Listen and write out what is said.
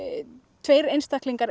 tveir einstaklingar